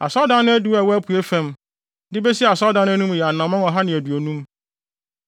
Asɔredan no adiwo a ɛwɔ apuei fam, de besi asɔredan no anim yɛ anammɔn ɔha ne aduonum.